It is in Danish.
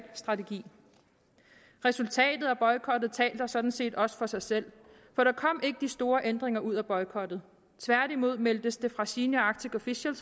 strategi resultatet af boykotten taler sådan set også for sig selv for der kom ikke de store ændringer ud af boykotten tværtimod meldtes det fra senior arctic official